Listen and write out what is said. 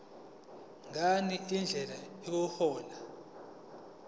ngani indlela yokuhlola